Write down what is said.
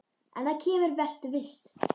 En það kemur, vertu viss.